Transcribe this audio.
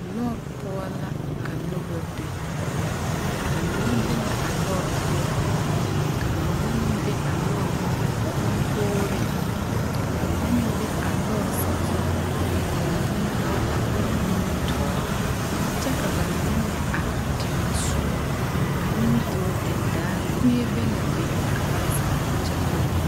Lɔɔre poɔ la ka noba be ba mine be la a lɔre poɔ ka ba mine meŋ be a lɔre konkogriŋ ka ba mine meŋ be a lɔre sazu ka ba mine meŋ be a lɔre nimitoore kyɛ ka ba mine meŋ are teŋɛ soɔ a nimitoore den daare kuee be laa be ka ba zeŋ kyɛ nyoge.